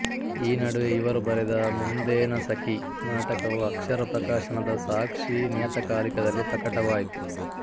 ಈ ನಡುವೆ ಇವರು ಬರೆದ ಮುಂದೇನ ಸಖಿ ನಾಟಕವು ಅಕ್ಷರ ಪ್ರಕಾಶನದ ಸಾಕ್ಷಿ ನಿಯತಕಾಲಿಕದಲ್ಲಿ ಪ್ರಕಟವಾಯಿತು